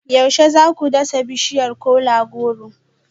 Yaushe za ku dasa bishiyar kola-goro